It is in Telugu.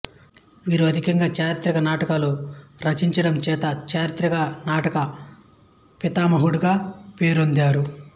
వీరు అధికంగా చారిత్రక నాటకాలు రచించడంచేత చారిత్రక నాటక పితామహుడుగా పేరొందారు